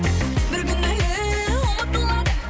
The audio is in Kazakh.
бір күні әлі ұмытылады